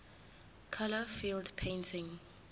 color field painting